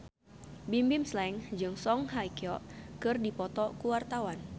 Bimbim Slank jeung Song Hye Kyo keur dipoto ku wartawan